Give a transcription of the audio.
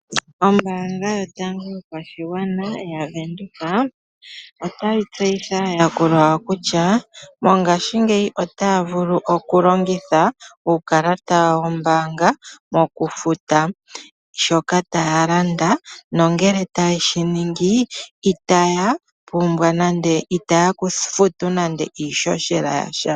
Ombaanga yotango yopashigwana yaVenduka otayi tseyitha aayakulwa yawo kutya mongashingeyi otaya vulu okulongitha uukalata wawo wombaanga mokufuta shoka taya landa nongele taye shi ningi itaya futu nande iihohela yasha.